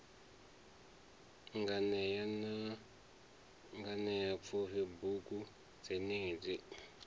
nganea na nganeapfufhi bugu dzenedzi